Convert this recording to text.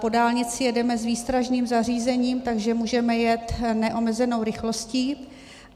Po dálnici jedeme s výstražným zařízením, takže můžeme jet neomezenou rychlostí.